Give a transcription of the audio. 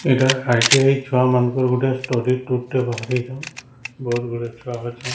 ଏଇଟା ଆଇ_ଟି_ଆଇ ଛୁଆ ମାନଙ୍କର ଗୋଟେ ଷ୍ଟଡି ଟୁର ଟେ ବାହାରିଛନ ବହୁତ ଗୁଡିଏ ଛୁଆ ଅଛନ।